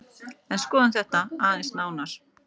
En skoðum þetta aðeins nánar.